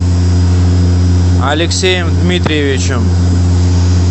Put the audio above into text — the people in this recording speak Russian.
алексеем дмитриевичем